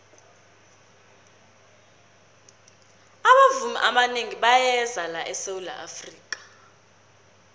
abavumi abanengi bayeza la esawula afrika